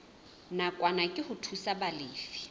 nakwana ke ho thusa balefi